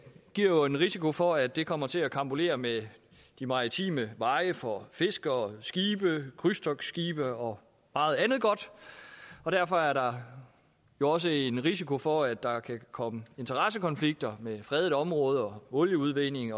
giver jo en risiko for at det kommer til at karambolere med de maritime veje for fiskere skibe krydstogtskibe og meget andet godt og derfor er der jo også en risiko for at der kan komme interessekonflikter mellem fredede områder og olieudvinding